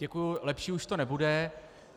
Děkuji, lepší už to nebude.